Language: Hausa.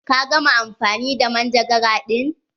Ka gama amfani da manjagara ɗin?